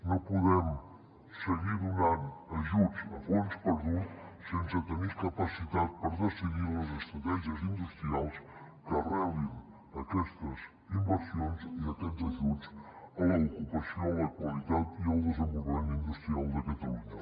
no podem seguir donant ajuts a fons perdut sense tenir capacitat per decidir les estratègies industrials que arrelin aquestes inversions i aquests ajuts a l’ocupació la qualitat i el desenvolupament industrial de catalunya